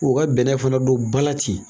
U ka bɛnɛ fana don ba la ten